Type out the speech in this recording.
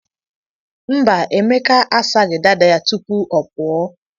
Mba, Emeka a saghị dada ya tupu ọ pụọ.